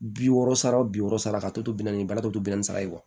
Bi wɔɔrɔ sara bi wɔɔrɔ sara ka tɔ to bɛnnɛ bara tɔ to bilen sala ye